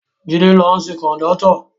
Jide ló ṣe kọ̀ndọ́tọ̀